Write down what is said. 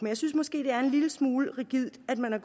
jeg synes måske det er en lille smule rigidt at man har